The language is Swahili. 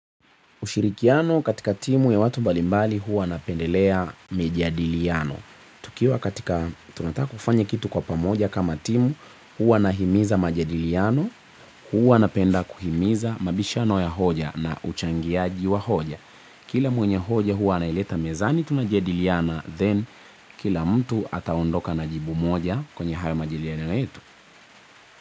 Ushirikiano katika timu ya watu mbalimbali huwa napendelea mijadiliano. Tukiwa katika tunataka kufanya kitu kwa pamoja kama timu huwa nahimiza majadiliano huwa napenda kuhimiza mabishano ya hoja na uchangiaji wa hoja. Kila mwenye hoja huwa anaileta mezani tunajadiliana then kila mtu ataondoka na jibu moja kwenye hayo majadiliana yetu.